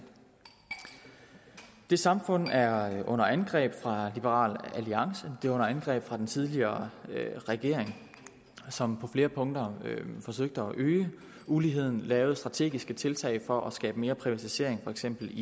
det samfund er under angreb fra liberal alliance det er under angreb fra den tidligere regering som på flere punkter forsøgte at øge uligheden lavede strategiske tiltag for at skabe mere privatisering i for eksempel